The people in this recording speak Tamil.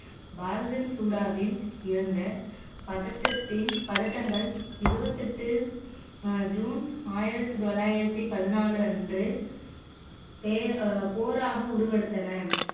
இருந்த பதட்டத்தில் பதட்டங்கள் இருபத்தி எட்டு ஜூன் ஆயிரத்தி தொள்ளாயிரத்தி பதினாலு அன்று பே போராக உருவெடுத்தன